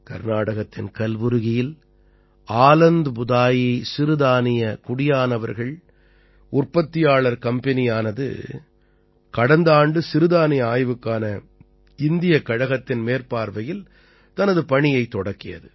கர்நாடகத்தின் கல்புர்கியில் ஆலந்த் புதாயி சிறுதானிய குடியானவர்கள் உற்பத்தியாளர் கம்பெனியானது கடந்த ஆண்டு சிறுதானிய ஆய்வுக்கான இந்தியக் கழகத்தின் மேற்பார்வையில் தனது பணியைத் தொடக்கியது